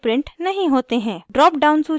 drop down सूची पर click करें